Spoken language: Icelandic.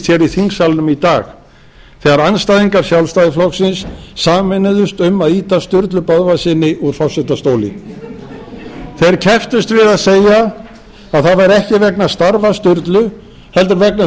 þingsalnum í dag þegar andstæðingar sjálfstæðisflokksins sameinuðust um að ýta sturlu böðvarssyni úr forsetastóli þeir kepptust við að segja að það væri ekki vegna starfa sturlu heldur vegna þess að